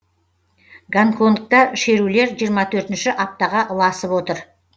гонконгта шерулер жиырма төртінші аптаға ұласып отыр